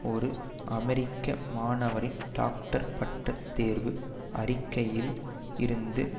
ஒரு அமெரிக்க மாணவரின் டாக்டர் பட்ட தேர்வு அறிக்கையில் இருந்து